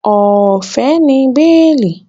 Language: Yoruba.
Ọ̀fẹ́ ni béèlì